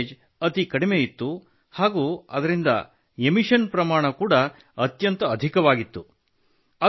ಅದರ ಮೈಲೇಜ್ ಅತಿ ಕಡಿಮೆ ಇತ್ತು ಹಾಗೂ ಅದರಿಂದ ಉತ್ಸರ್ಜನೆ ಪ್ರಮಾಣ ಅತ್ಯಂತ ಅಧಿಕವಾಗಿತ್ತು